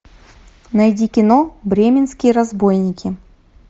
найди кино бременские разбойники